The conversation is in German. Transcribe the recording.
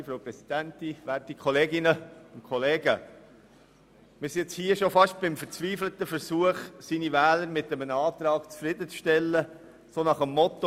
Wir sind nun hier beim fast schon verzweifelten Versuch, Wähler mit einem Antrag zufriedenzustellen aufgrund des Mottos: